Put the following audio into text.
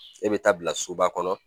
E bɛ taa bila soba kɔnɔ